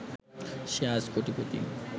সে আজ কোটিপতি